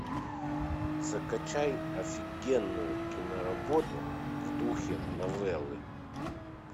закачай офигенную киноработу в духе новеллы